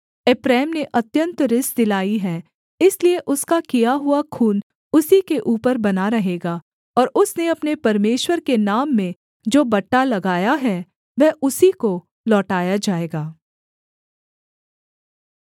एप्रैम ने अत्यन्त रिस दिलाई है इसलिए उसका किया हुआ खून उसी के ऊपर बना रहेगा और उसने अपने परमेश्वर के नाम में जो बट्टा लगाया है वह उसी को लौटाया जाएगा